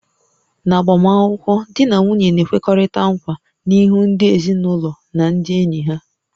N'agbamakwụkwọ, di na nwunye na-ekwekọrịta nkwa n'ihu ndị ezinụlọ na ndị enyi ha